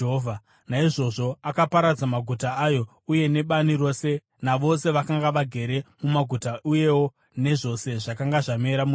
Naizvozvo akaparadza maguta ayo uye nebani rose, navose vakanga vagere mumaguta uyewo nezvose zvakanga zvamera munyika.